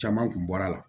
Caman kun bɔr'a la